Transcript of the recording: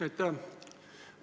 Aitäh!